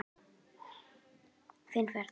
Þetta verður fín ferð.